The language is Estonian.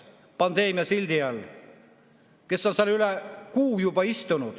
seal üle kuu aja istunud.